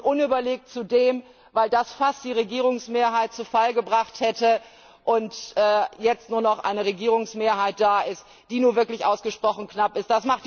Und unüberlegt zudem, weil das fast die Regierungsmehrheit zu Fall gebracht hätte und jetzt nur noch eine Regierungsmehrheit da ist, die nun wirklich ausgesprochen knapp ist.